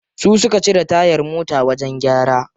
Su suka cire tayar mota wajen gyara.